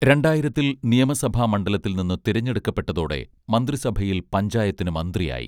രണ്ടായിരത്തിൽ നിയമസഭാ മണ്ഡലത്തിൽ നിന്ന് തിരഞ്ഞെടുക്കപ്പെട്ടതോടെ മന്ത്രിസഭയിൽ പഞ്ചായത്തിന് മന്ത്രിയായി